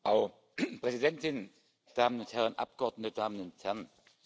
Frau Präsidentin, Damen und Herren Abgeordnete, Damen und Herren!